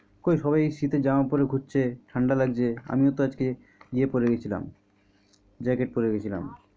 কই সবাই শীতের জামা কাপড় পরে ঘুরছে ঠাণ্ডা লাগছে আমিও তো আজকে ইয়ে পরে গেছিলাম jacket পরে গেছিলাম।